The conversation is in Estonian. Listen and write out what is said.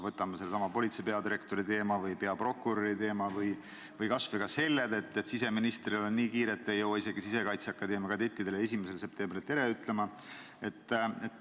Võtame sellesama politsei peadirektori või peaprokuröri teema või kas või selle, et siseministril on nii kiire, et ei jõua isegi Sisekaitseakadeemia kadettidele 1. septembril tere ütlema.